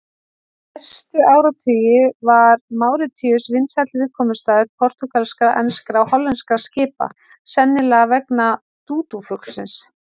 Næstu áratugi var Máritíus vinsæll viðkomustaður portúgalskra, enskra og hollenskra skipa, sennilega vegna dúdúfuglsins.